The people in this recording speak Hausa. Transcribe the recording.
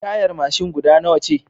Tayar mashin guda nawa ce